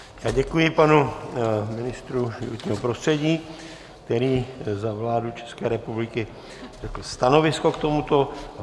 Děkuji panu ministru životního prostředí, který za vládu České republiky řekl stanovisko k tomuto.